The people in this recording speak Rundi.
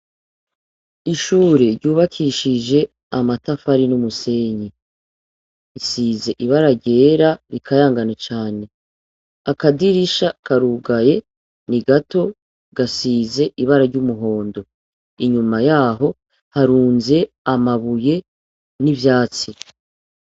Ishure ryubakishije amatafari n'umusenyi. Risize ibara ryera rikayangana cane. akadirisha karugaye ni gato, gasize ibara ry'umuhondo. Inyuma yaho harunze amabuye n'ivyatsi.